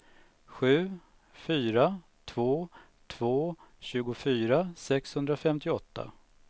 sju fyra två två tjugofyra sexhundrafemtioåtta